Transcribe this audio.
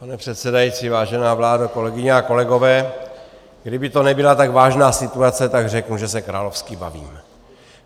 Pane předsedající, vážená vládo, kolegyně a kolegové, kdyby to nebyla tak vážná situace, tak řeknu, že se královsky bavím.